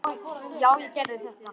Já, ég gerði þetta!